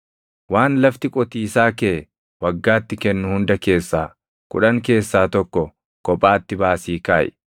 Waan lafti qotiisaa kee waggaatti kennu hunda keessaa kudhan keessaa tokko kophaatti baasii kaaʼi.